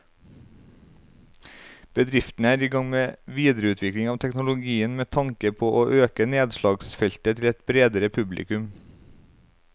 Bedriften er i gang med videreutvikling av teknologien med tanke på å øke nedslagsfeltet til et bredere publikum.